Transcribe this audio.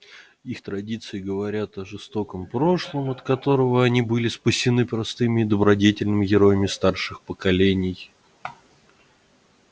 их традиции говорят о жестоком прошлом от которого они были спасены простыми и добродетельными героями старших поколений